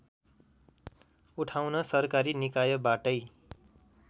उठाउन सरकारी निकायबाटै